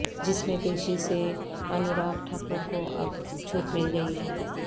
جس میں پیشی سے انوراگ ٹھاکر کو اب چھوٹ مل گئی ہے